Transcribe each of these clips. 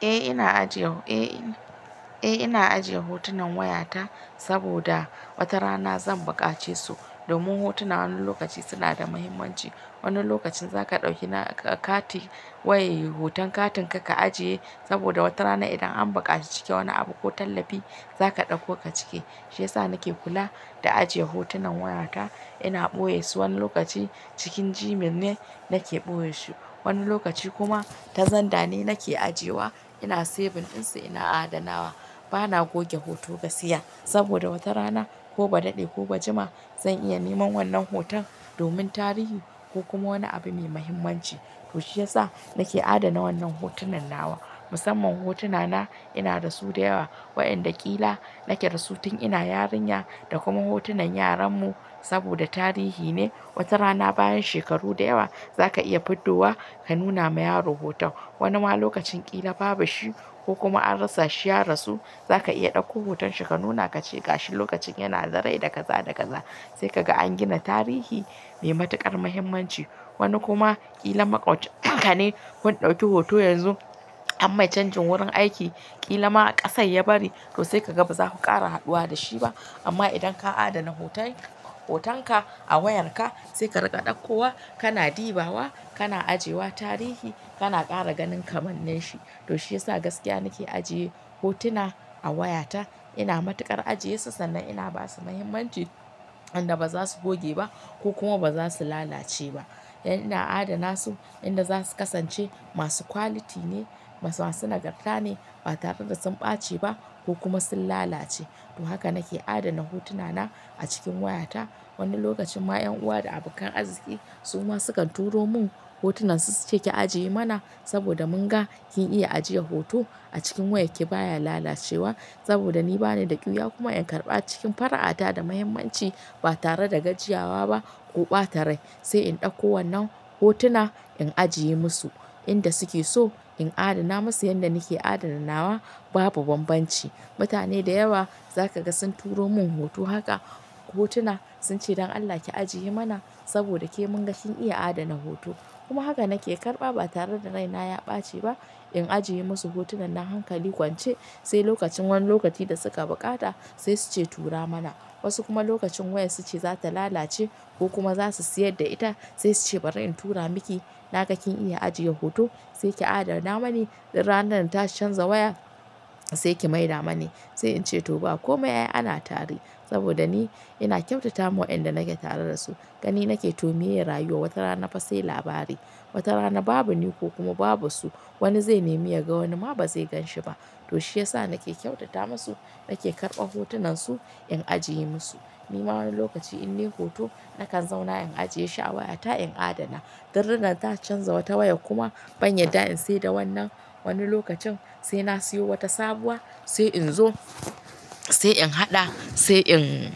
Eh ina ajiye. Eh ina, Eh ina ajiye hotunan wayata saboda wata rana zan buƙace su. Domin hotuna wani lokaci sunada muhimmanci. Wani lokacin zaka ɗauki na kati, waye hoton katin ka ka ajiye saboda wata rana idan an buƙaci cike wani abu ko tallafi zaka ɗauko ka cike. Shiyasa nake kula da ajiye hotunan wayata. Ina ɓoye su wani lokaci cikin Gmail ne nake ɓoye shi. Wani lokaci kuma ta zandane nake ajiye wa. Ina saving ɗinsu ina adanawa. Bana goge hoto gaskiya saboda wata rana koba daɗe koba jima zan iya neman wannan hoton domin tarihi ko kuma wani abu mai mahimmanci. To shi ya sa nake adana wannan hotunan nawa. Musamman hotuna na inadasu da yawa. Waɗanda ƙila nake dasu tun ina yarinya da kuma hotunan yaran mu saboda tarihi ne. Wata rana bayan shekaru da yawa za ka iya fito wa ka nuna ma yaro hoton. Wanima lokacin ƙila babu shi ko kuma an rasashi ya rasu, zaka iya ɗauko hoton shi ka nuna kace gashi lokacin yanada rai da kaza, da kaza. Saikaga an gina tarihi mai matuƙar muhimmanci. Wani kuma ƙila maƙwabcin kane kun ɗauki hoto yanzu an mai canjin wurin aiki. Ƙilama ƙasar ya bari to saikaga bazaku ƙara haduwa dashi ba. Amma idan ka adana hotay, hotonka a wayarka, saika riƙa ɗaukowa, kana ɗibawa, kana ajiyewa tarihi, kana ƙara ganin kamannin shi. To shi ya sa gaskiya nake ajiye hotuna a wayata. Ina matuƙar ajiyesu sannan ina basu muhimmanci. Inda bazasu gogeba ko kuma bazasu lalace ba. Dan ina adana su, inda zasu kasance masu quality ne, masu, masu nagarta ne ba tare da sun ɓaceba ko kuma sun lalace. To haka nake adana hotuna na a cikin wayata. Wani lokacinma ƴan uwa da abokan arziki suma sukan turo mun hotunan su suce ki ajiye mana saboda munga kin iya ajiyar hoto a cikin wayarki baya lalacewa. Saboda ni banida ƙyiwa kuma in karɓa cikin fara'ata da muhimmanci ba tare da gajiyawa ba ko ɓata rai. Sai in ɗauko wannan hotuna, in ajiye musu inda suke so, in adana musu yanda nake adana nawa, babu bambanci. Mutane da yawa zakaga sun turo mun hoto haka, hotuna sunce don Allah ki ajiye mana saboda ke munga kin iya adana hoto. Kuma haka nake karɓa ba tareda raina ya ɓaci ba. In ajiye musu hotunan nan hankali kwance, sai lokacin, wani lokaci da suka buƙata sai suce tura mana. Wasu kuma lokacin wayar suce zata lalace ko kuma zasu sayar da ita, sai suce bari in tura miki, naga kin iya ajiye hoto, saiki adana mani. Idan ranar ta canza waya, saiki maida mani. Sai ince to ba komai ai ana tare saboda ni ina ƙyautatama waƴanda nake tare dasu. Gani nake to miye rayuwar wata rana fa sai labari. Wata rana babu ni ko kuma babu su, wani zai nemi yaga wani ma bazai ganshi ba. To shiyasa nake ƙyautata masu, nake karɓa hotunan su in ajiye musu. Nima wani lokaci in nayi hoto nakan zauna in ajiye shi a wayata in adana. Dan ranar ta canza wata wayar kuma ban yarda in saida wannan wani lokacin saina siyo wata sabuwa, sai in zo sai in haɗa sai in,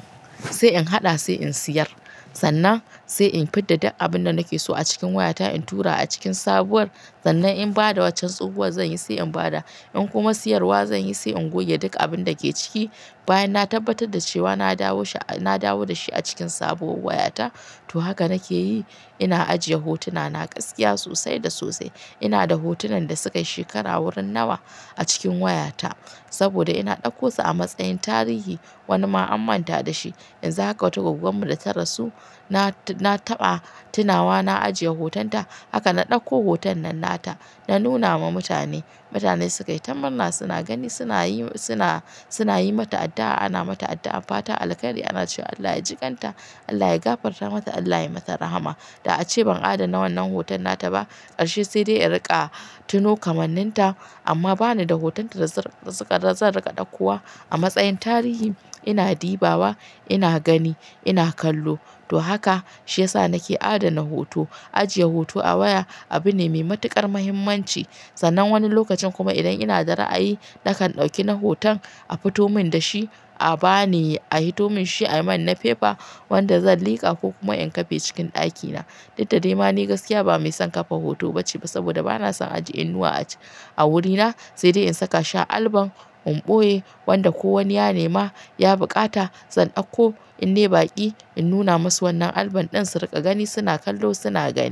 sai in haɗa sai in siyar. Sannan sai in fidda duk abunda nake so a cikin wayata in tura a cikin sabuwar. Sannan in bada waccar tsohuwar zanyi sai in bada. In kuma siyarwa zanyi sai in goge duk abinda ke ciki. Bayan na tabbatar da cewa na dawo shi, na dawo da shi a cikin sabuwar wayata. To haka nake yi. Ina ajiye hotuna na gaskiya sosai da sosai. Inada hotunan da sukayi shekara wurin nawa a cikin wayata saboda ina ɗauko su a matsayin tarihi. Wanima an manta da shi. Yanzu haka wata gwaggonmu data rasu, na, na taɓa tunawa na ajiye hoton ta. Haka na ɗauko hoton nan nata, na nunama mutane. Mutane sukayi ta mamma suna gani sunayi, suna, suna yi mata addu'a. Ana mata addu'ar fatan alkairi. Ana cewa Allah ya jiƙanta, Allah ya gafarta mata, Allah ya mata rahama. Da'ace ban adana wannan hoton nataba ƙarshe sai dai in riƙa tuno kamannin ta. Amma bani da hoton ta dazan riƙa, zan riƙa ɗaukowa a matsayin tarihi. Ina ɗibawa, ina gani, ina kallo. To haka shi ya sa nake adana hoto. Ajiye hoto a waya abune mai matuƙar muhimmanci. Sannan wani lokacin kuma idan inada ra'ayi, nakan ɗauki na hoton a fito mun dashi a bani, a hito mun shi ayi man na fefa wanda zan liƙa ko kuma in kafe cikin ɗakina. Dukdade ma ni gaskiya ba maison kafa hoto bace ba saboda bana son ajiye inuwa a--, a wurina. Saide in saka shi album in ɓoye wanda ko wani ya nema ya buƙata, zan ɗauko innayi baƙi in nuna masu wannan album ɗin su riƙa gani suna kallo suna gani.